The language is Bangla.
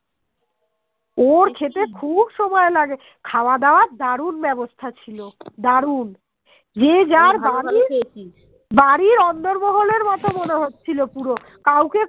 মনে হচ্ছিল পুরো কাওকে